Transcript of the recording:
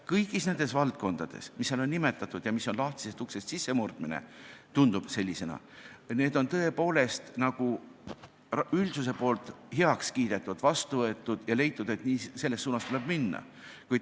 Kõik need valdkonnad, mida selles dokumendis on nimetatud ja mis tunduvad lahtisest uksest sissemurdmisena, on tõepoolest nagu üldsuse poolt heaks kiidetud, vastu võetud ja nende puhul on leitud, et selles suunas tuleb minna.